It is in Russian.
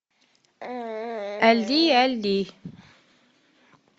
али али